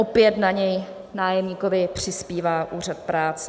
Opět na něj nájemníkovi přispívá úřad práce.